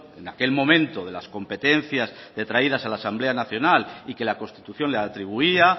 en aquel momento de las competencias detraídas a la asamblea nacional y que la constitución le atribuía